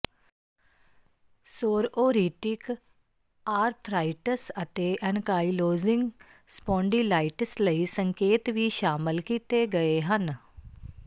psoriatic arthritis ਅਤੇ ankylosing spondylitis ਲਈ ਸੰਕੇਤ ਵੀ ਸ਼ਾਮਲ ਕੀਤੇ ਗਏ ਹਨ